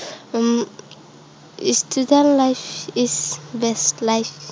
um student life is best life